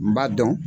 N b'a dɔn